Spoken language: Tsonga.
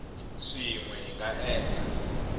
swin we hi nga endla